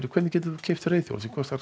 hvernig geturðu keypt reiðhjól sem kostar